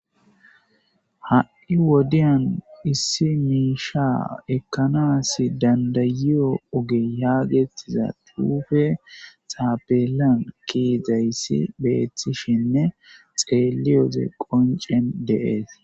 ha7i wodiyan issi miisha ekkanas dandayiyo oge haagettiza tuufe saabelan kiizayssi beeththishinne xeeliyoze qoncen deees